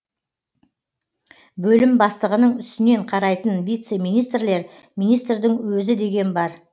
бөлім бастығының үстінен қарайтын вице министрлер министрдің өзі деген бар